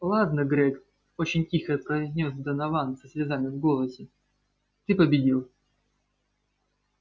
ладно грег очень тихо произнёс донован со слезами в голосе ты победил